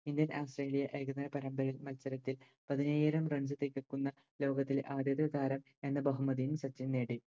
India Australia ഏകദിന പരമ്പരയിൽ മത്സരത്തിൽ പതിനയ്യായിരം Runs ലേക്കെത്തുന്ന ലോകത്തിലെ ആദ്യത്തെ താരം എന്ന ബഹുമതിയും സച്ചിൻ നേടി